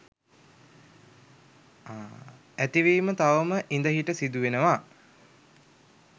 ඇතිවීම තවම ඉඳහිට සිදුවෙනවා.